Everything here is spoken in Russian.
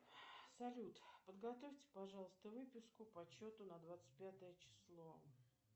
салют подготовьте пожалуйста выписку по счету на двадцать пятое число